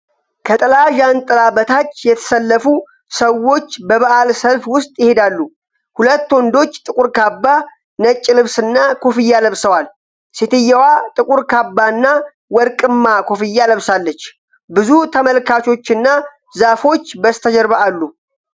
ከጥላ ዣንጥላ በታች የተሰለፉ ሰዎች በበዓል ሰልፍ ውስጥ ይሄዳሉ። ሁለት ወንዶች ጥቁር ካባ፣ ነጭ ልብስና ኮፍያ ለብሰዋል። ሴትዮዋ ጥቁር ካባና ወርቅማ ኮፍያ ለብሳለች። ብዙ ተመልካቾችና ዛፎች በስተጀርባ አሉ።